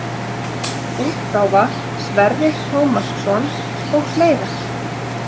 útgáfa Sverrir Tómasson og fleira.